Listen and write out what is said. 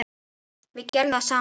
Við gerðum það saman.